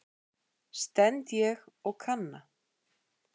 stend ég og kanna.